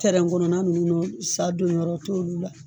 tɛrɛn kɔnɔna nunnu na sa donyɔrɔ t' olu la